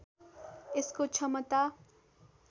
यसको क्षमता